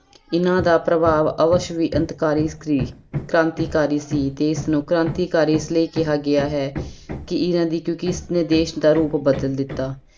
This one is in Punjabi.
ਇਹਨਾਂ ਦਾ ਪ੍ਰਭਾਵ ਅਵਸ਼ ਵੀ ਅੰਤਕਾਰੀ ਸੀ, ਕ੍ਰਾਂਤੀਕਾਰੀ ਸੀ ਤੇ ਇਸਨੂੰ ਕ੍ਰਾਂਤੀਕਾਰੀ ਇਸ ਲਈ ਕਿਹਾ ਗਿਆ ਹੈ ਕਿ ਇਹਨਾਂ ਦੀ ਕਿਉਂਕਿ ਇਸਨੇ ਦੇਸ ਦਾ ਰੂਪ ਬਦਲ ਦਿੱਤਾ।